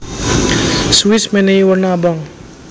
Swiss menehi werna abang